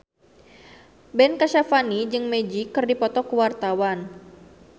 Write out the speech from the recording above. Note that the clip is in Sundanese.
Ben Kasyafani jeung Magic keur dipoto ku wartawan